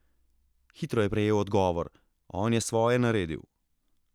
Hitro je prejel odgovor: "On je svoje naredil ...